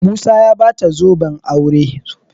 musa ya bata zoben aure